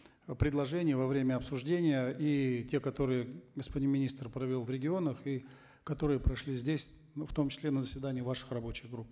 предложений во время обсуждения и те которые господин министр провел в регионах и которые прошли здесь в том числе на заседаниях ваших рабочих групп